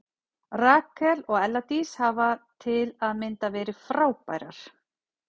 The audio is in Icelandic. Rakel og Ella Dís hafa til að mynda verið frábærar.